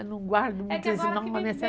Eu não guardo muitas